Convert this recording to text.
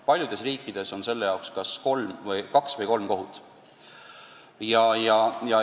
Paljudes riikides on selle jaoks kaks või kolm eraldi kohut.